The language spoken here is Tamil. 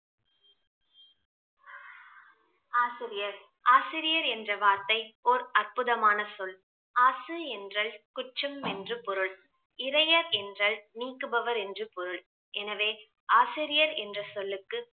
ஆசிரியர் ஆசிரியர் என்ற வார்த்தை ஒர் அற்புதமான சொல் ஆசிரி என்றால் குற்றம் என்று பொருள் இறையர் என்றால் நீக்குபவர் என்று பொருள் எனவே ஆசிரியர் என்ற சொல்லுக்கு